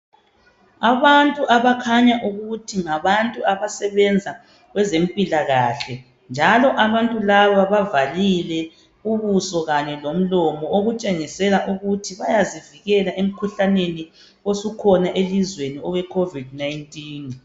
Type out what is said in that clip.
Abantu abakhanya ukuthi ngabantu abasebenza kwezempilakahle njalo abantu laba bavalile ubuso kanye lomlomo okutshengisela ukuthi bayazivikela emikhuhlaneni osukhona elizweni owe Covid-19.